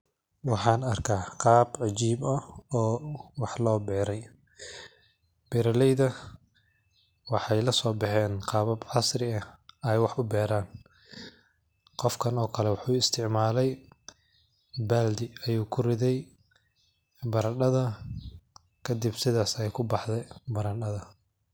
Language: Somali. Waxan arka qab cajib ah oo wax loberay, beroleyda waxay laso baxeen qabab casri ay wax kuberan, qofkan okoleto wuxu istacmalay baldi ayu kuriday baradadha kadib sidhad ayay kubaxdi baradadha.